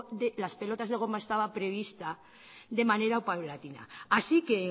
de las pelotas de goma estaba prevista de manera paulatina así que